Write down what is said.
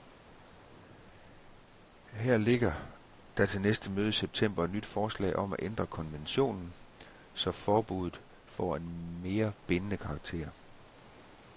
Her ligger der til næste møde i september et nyt forslag om at ændre konventionen, så forbuddet får en mere bindende karakter.